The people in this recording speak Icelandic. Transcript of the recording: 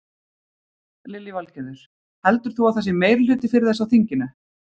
Lillý Valgerður: Heldur þú að það sé meirihluti fyrir þessu á þinginu?